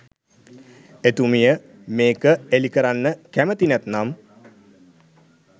එතුමිය මේක එලි කරන්න කැමති නැත්නම්